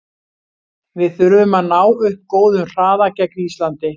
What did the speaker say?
Við þurfum að ná upp góðum hraða gegn Íslandi.